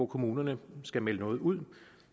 kommunerne skal melde noget ud